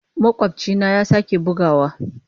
Makwabcina ya sake buguwa.